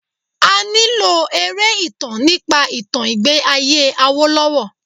A nílò eré ìtàn nípa ìtàn ìgbẹ́ ayé Awolowo.